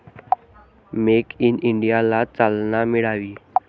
Make in इंडियाला चालना मिळावी.